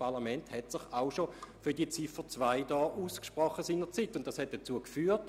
Vielmehr hat sich dieses Parlament seinerzeit auch schon einmal für den Inhalt von Ziffer 2 ausgesprochen.